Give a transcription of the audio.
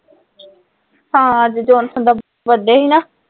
ਅੱਜ John sir ਦਾ birthday ਸੀ ਨਾ